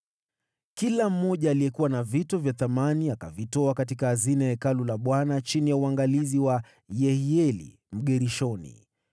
Kila mmoja aliyekuwa na vito vya thamani akavitoa katika hazina ya Hekalu la Bwana chini ya uangalizi wa Yehieli Mgershoni.